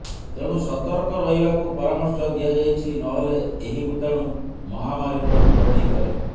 ତେଣୁ ସତର୍କ ରହିବା କୁ ପରାମର୍ଶ ଦିଆଯାଇଛି ନହେଲେ ଏହି ଭୂତାଣୁ ମହାମାରୀ ର ରୂପ ନେଇପାରେ